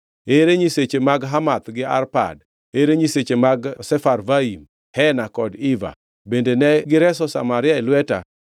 Ere nyiseche mag Hamath gi Arpad? Ere nyiseche mag Sefarvaim, Hena kod Iva? Bende ne gireso Samaria e lweta?